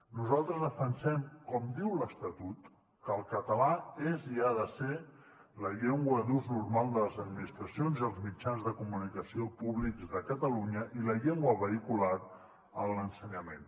nosaltres defensem com diu l’estatut que el català és i ha de ser la llengua d’ús normal de les administracions i els mitjans de comunicació públics de catalunya i la llengua vehicular en l’ensenyament